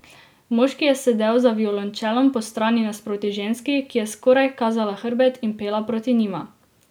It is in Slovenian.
Moški je sedel za violončelom postrani nasproti ženski, ki je skoraj kazala hrbet in pela proti njima.